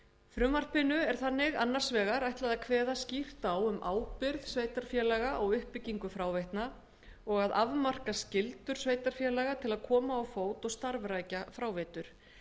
frumvarpinu er þannig annars vegar ætlað að kveða skýrt á um ábyrgð sveitarfélaga á uppbyggingu fráveitna og að afmarka skyldur sveitarfélaga til að koma á fót og starfrækja fráveitur